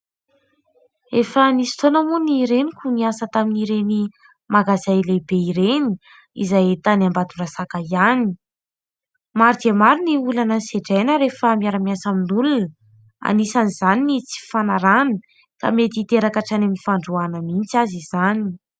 Efa nisy fotoana moa ny reniko niasa tamin'ireny magazay lehibe ireny izay tany Ambatondrazaka ihany. Maro dia maro ny olana sedraina rehefa miara-miasa amin'olona anisan'izany ny tsy fifanarahana ka mety hiteraka hatrany amin'ny fandroahana mihitsy aza izany.